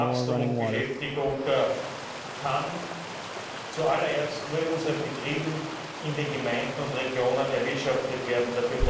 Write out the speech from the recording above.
Wachstum und Beschäftigung können zuallererst nur in unseren Betrieben in den Gemeinden und Regionen erwirtschaftet werden.